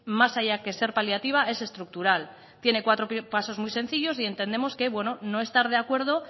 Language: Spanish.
más allá que ser paliativa es estructural tiene cuatro pasos muy sencillos y entendemos que no estar de acuerdo